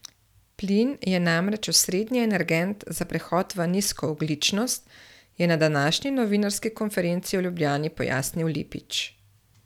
Plin je namreč osrednji energent za prehod v nizkoogljičnost, je na današnji novinarski konferenci v Ljubljani pojasnil Lipič.